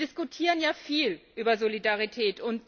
Wir diskutieren ja viel über Solidarität.